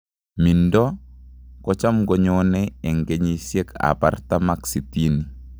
Mindo ni kocham ko nyone ing kenyishek ap artam ak sitini.